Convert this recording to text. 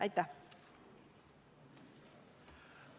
Aitäh!